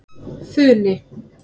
Funi